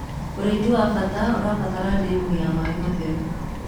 ũrĩithi wa bata ũrabatara ndemu ya maĩ theru